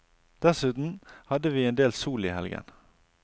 Dessuten hadde vi endel sol i helgen.